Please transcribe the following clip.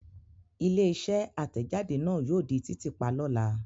Ilé-iṣẹ́ àtẹ̀jáde náà yóò di títì pa lọ́la.